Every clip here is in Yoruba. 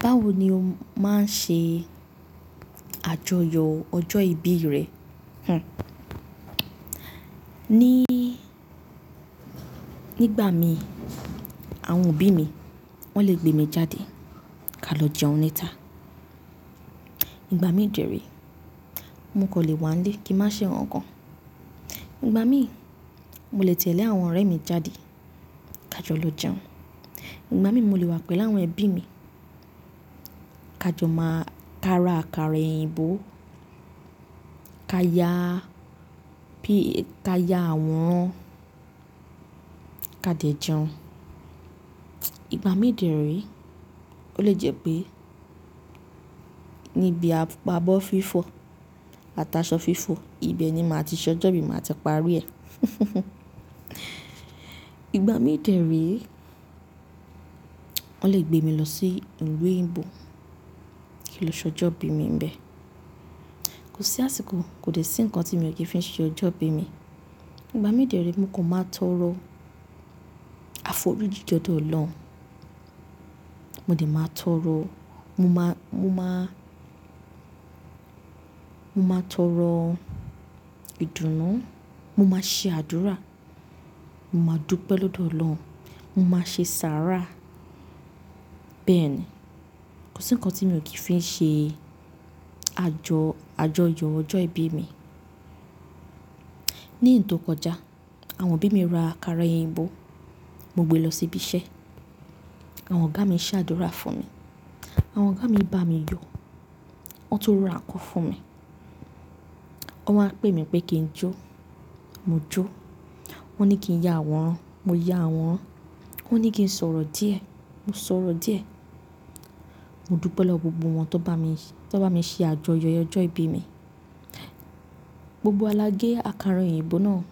Báwo ni o máa ń ṣe àjọyọ̀ ọjọ́ ìbí rẹ? Hhm. Nígbà mí, àwọn òbí mi, wọ́n le gbé mi jáde ká lọ jẹun níta. Nígbà mí dẹ ree mo kan lè wá nilé kí n má ṣe nkankan. Nígbà mí, mo lè tẹ̀lé àwọn ọ̀rẹ́ mi jáde, ká jọ lọ jẹun. Nígbà mí, mo lè wà pẹ̀lú àwọn ẹbí mi. Ká jọ máa ka ara àkàrà òyìnbó, ká ya àworán, ká dẹ̀ jẹun. Nígbà mí dẹ ree, ó lè jẹ́ pé níbi apá abọ́ fífọ̀, ataṣọ fífọ̀, ibẹ̀ ni màá ti ṣ'ọjọ́ ibí, ni màá ti parí ẹ̀. Nígbà mí dẹ ree, wọ́n lè gbé mi lọ sí ìlú òyìnbó kí n lọ ṣ'ọjọ́ ìbí mi níbẹ̀. Kò sí àsìkò, kò dẹ̀ sí ǹkan tí mi ò kí n fi ṣe ọjọ́ ìbí mi. Nígbà mí dẹ ree, mo kan máa tọrọ àfóríjí l'ọdọ̀ Ọlọ́run. Mo dẹ̀ máa tọrọ, mo máa tọrọ ìdùnnú, mo máa ṣe àdúrà, mo máa dúpẹ́ lọ́dọ̀ Ọlọ́run, mo máa ṣe sàárà. Bẹ́ẹ̀ ni. Kò sí ǹkan tí mi ò kí fi ṣe àjọ, àjọyọ̀ ọjọ́ ìbí mi. Ní ǹ tó kọjá, àwọn òbí mi ra àkàrà òyìnbó, mo gbe lọ sí ibi iṣẹ́. Àwọn ọ̀gá mi ṣe àdúrà fún mi. Àwọn ọ̀gá mi bá mi yọ. Wọ́n tun ra nkan fún mi. Wọ́n wá pè mí pé kí n jó. Mo jó. Wọ́n ní kí n ya àwọ̀ran. Mo ya àwọ̀ran. Wọ́n ní kí n sọ̀rọ̀ díẹ̀. Mo sọ̀rọ̀ díẹ̀. Mo dúpẹ́ lọ́wọ́ gbogbo wọn tó bá mi, tó bá mi ṣe àjọyọ̀ ọjọ́ ìbí mi. Gbogbo wa lá gé àkàrà òyìnbó náà,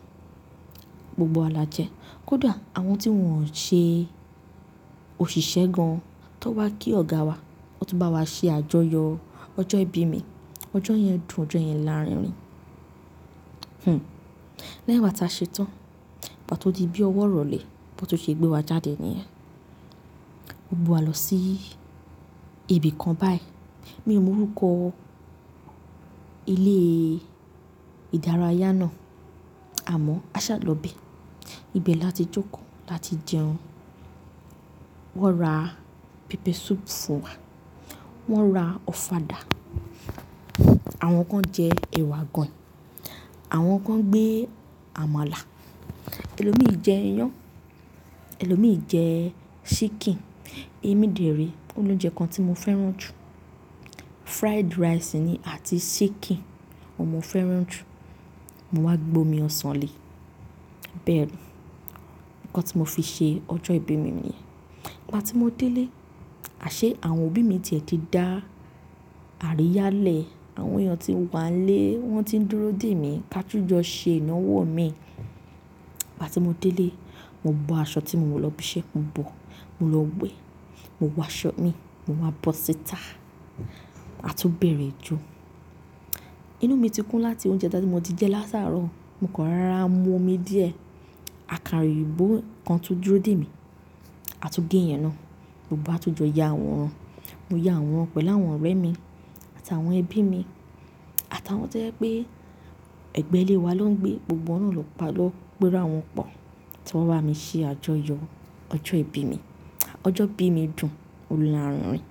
gbogbo wa là jẹ. Kódà àwọn tí wọn ò ṣe òṣìṣẹ́ gan, tan wá kí ọ̀gá wa, wọ́n tun bá wa ṣe àjọyọ̀ ọjọ́ ìbí mi. Ọjọ́ yẹn dùn, ọjọ́ yẹn lárinrin. Hmm. Lẹ́yìn igba ta ṣetán, igba to di bí ọwọ́ irọlẹ̀, bi won tun ṣe gbé wa jáde níyẹn. Wọn gbé wa lọ sí ibi kan báyìí. Mi ò mọ orúkọ ilé ìdárayá náà, àmọ́ a ṣàlọ́ ibẹ Ibẹ̀ la ti jókòó, la ti jẹun. Wọ́n ra pepper soup fún wa. Wọ́n ra ọ̀fadà. Àwọn kan jẹ ẹwà aganyin. Àwọn kan gbé àmàlà. Èlòmi jẹ iyán, èlòmi jẹ ṣíkìn. Èmi dẹ̀ ree ó l'ounjẹ́ kan tí mo fẹ́ràn jù. Fried rice ni àti ṣíkìn. Ohun mo fẹ́ràn jù. Mo wá gbe omi ọsàn le. Bẹ́ẹ̀ ni. Ǹkan tí mo fi ṣe ọjọ́ ìbí mi niyẹn. Ìgbà tí mo dé ilé, àṣé àwọn òbí mi ti ẹ̀ ti dá àríyá lẹ̀. Àwọn èèyàn tí ń wà lé wọ́n ti ń dúró dè mí ká tun jọ́ ṣe ìnáwó mi. Ìgbà tí mo dé ilé, mo bọ aṣọ tí mo wọ̀ lọ ibi iṣẹ́, mo bọ̀, mo lọ wé. Mo wọ aṣọ mi, mo wá bọ síta. A tún bẹ̀rẹ̀ ijo. Inú mi ti kún láti oúnjẹ tá tí mo ti jẹ látàárọ̀. Mo kàn rara mu omi díẹ̀. Àkàrà òyìnbó kan tún dúró dè mí. A tún gé ìyẹn náà. Gbogbo wa tún jọ ya àwòrán. Mo ya aworan pẹ̀lú àwọn ọ̀rẹ́ mi àtàwọn ẹbí mi àtàwọn tó jẹ́ pé ẹgbẹ́ ilé wa na ń gbé. Gbogbo wa náà ló p'era wọn po tí wọ́n bá mi ṣe àjọyọ̀ ọjọ́ ìbí mi. Ọjọ́ ìbí mi dùn, ó lárinrin.